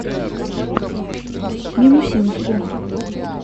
минусинску